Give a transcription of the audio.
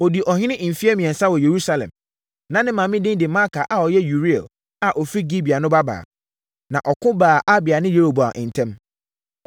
Ɔdii ɔhene mfeɛ mmiɛnsa wɔ Yerusalem. Na ne maame din de Maaka a ɔyɛ Uriel a ɔfiri Gibea no babaa. Na ɔko baa Abia ne Yeroboam ntam.